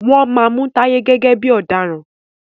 wón má Mú Taye gẹ́gẹ́ bí ọ̀daràn.